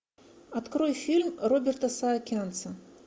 открой фильм роберта саакянца